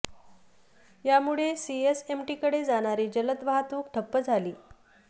यामुळे सीएसएमटीकडे जाणारी जलद वाहतूक ठप्प झाली आहे